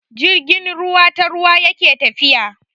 Jirgin ruwa ta ruwa yake tafiya.